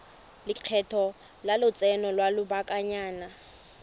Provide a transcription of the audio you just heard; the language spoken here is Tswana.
lekgetho la lotseno lwa lobakanyana